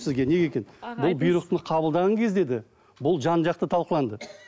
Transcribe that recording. сізге неге екенін бұл бұйрықты қабылдаған кезде де бұл жан жақты талқыланды